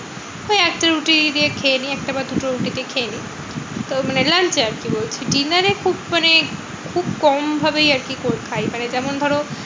ওই একটা রুটি দিয়ে খেয়ে নিই। একটা বা দুটো রুটি দিয়ে খেয়ে নিই। তো মানে lunch এ আরকি বলছি। dinner এ খুব মানে খুব কম ভাবেই আরকি খাই। মানে যেমন ধরো